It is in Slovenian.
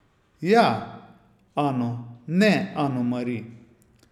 Ja, Ano, ne Ano Mari.